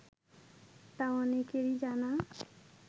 তা অনেকেরই জানা